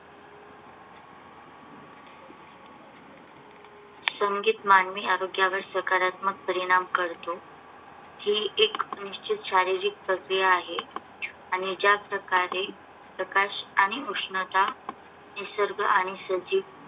संगीत मानवी आरोग्यावर सकारात्मक परिणाम करते. ही एक निश्चित शारीरिक प्रक्रिया आहे आणि ज्या प्रकारे प्रकाश आणि उष्णता, निसर्ग आणि सजीव